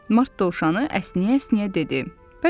Mart dovşanı əsnəyə-əsnəyə dedi: